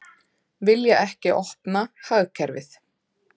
Vilja ekki opna hagkerfið